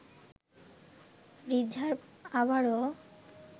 reserve আবারও